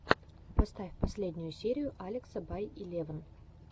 поставь последнюю серию алекса бай илевн